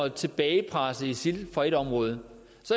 at tilbagepresse isil fra et område